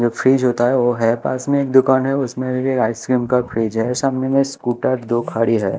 जो फ्रीज होता है वो है पास मे एक दुकान है उसमे भी आइसक्रीम का फ्रिज है सामने में स्कूटर दो खड़ी है।